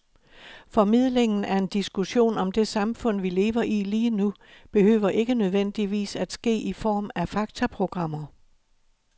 Formidlingen af en diskussion om det samfund, vi lever i lige nu, behøver ikke nødvendigvis at ske i form af faktaprogrammer.